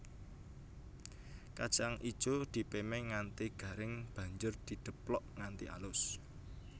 Kacang ijo dipémé nganti garing banjur dideplok nganti alus